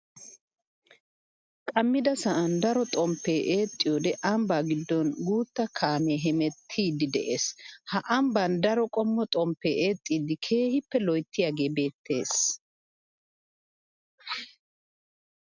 Qammidda sa'an daro xomppe eexxiyodde ambba gidon guuta kaame hemettidde de'ees. Ha ambban daro qommo xomppe eexxiddi keehippe loyttiyage beettes.